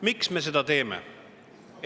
Miks me seda teeme?